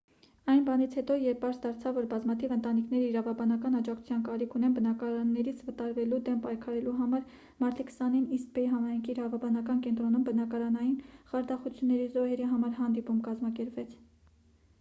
այն բանից հետո երբ պարզ դարձավ որ բազմաթիվ ընտանիքներ իրավաբանական աջակցության կարիք ունեն բնակարաններից վտարվելու դեմ պայքարելու համար մարտի 20-ին իսթ բեյ համայնքի իրավաբանական կենտրոնում բնակարանային խարդախությունների զոհերի համար հանդիպում կազմակերպվեց